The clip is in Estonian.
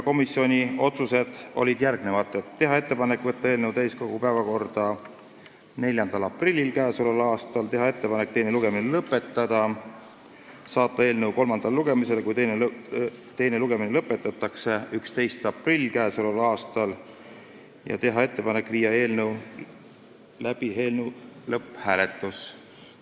Komisjoni otsused olid järgmised: teha ettepanek võtta eelnõu täiskogu päevakorda k.a 4. aprilliks, teha ettepanek teine lugemine lõpetada, saata eelnõu kolmandale lugemisele, kui teine lugemine lõpetatakse, 11. aprilliks k.a ning teha ettepanek panna eelnõu lõpphääletusele.